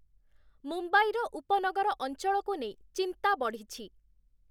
ମୁମ୍ବାଇର ଉପନଗର ଅଞ୍ଚଳକୁ ନେଇ ଚିନ୍ତା ବଢ଼ିଛି ।